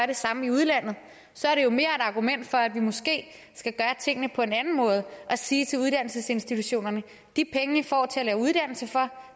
det samme i udlandet så er det jo mere et argument for at vi måske skal gøre tingene på en anden måde og sige til uddannelsesinstitutionerne de penge i får til at lave uddannelser for